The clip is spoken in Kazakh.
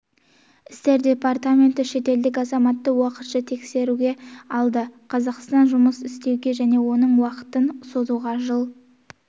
істер департаменті шетелдік азаматты уақытша тіркеуге алды қазақстанда жұмыс істеуге және оның уақытын созуға жыл